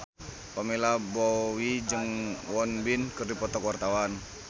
Pamela Bowie jeung Won Bin keur dipoto ku wartawan